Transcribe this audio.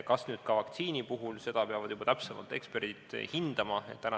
Kas ka vaktsiini puhul, seda peavad täpsemalt hindama juba eksperdid.